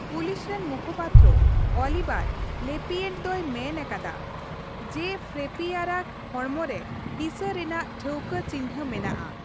Police ᱨᱮᱱ ᱢᱩᱠᱷᱚᱯᱟᱛᱛᱨᱚ ᱚᱞᱤᱵᱟᱨ ᱞᱮᱯᱭᱮᱹᱱᱴ ᱫᱚᱭ ᱢᱮᱱ ᱟᱠᱟᱫᱟ ᱡᱮᱹ ᱯᱷᱨᱮᱯᱤᱭᱟᱨᱟᱜ ᱦᱚᱲᱢᱚ ᱨᱮ ᱦᱤᱥᱟᱹ ᱨᱮᱱᱟᱜ ᱴᱷᱟᱣᱠᱟᱹ ᱪᱤᱱᱦᱟᱹ ᱢᱮᱱᱟᱜᱼᱟ ᱾